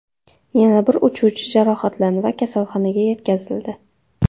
Yana bir uchuvchi jarohatlandi va kasalxonaga yetkazildi.